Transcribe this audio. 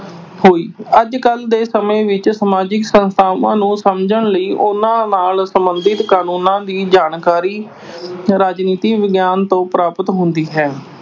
ਹੋਈ। ਅੱਜਕੱਲ੍ਹ ਦੇ ਸਮੇਂ ਵਿੱਚ ਸਮਾਜਿਕ ਸੰਸਥਾਵਾਂ ਨੂੰ ਸਮਝਣ ਲਈ ਉਨ੍ਹਾਂ ਨਾਲ ਸਬੰਧਤ ਕਾਨੂੰਨਾਂ ਦੀ ਜਾਣਕਾਰੀ, ਰਾਜਨੀਤਿਕ ਵਿਗਿਆਨ ਤੋਂ ਪ੍ਰਾਪਤ ਹੁੰਦੀ ਹੈ।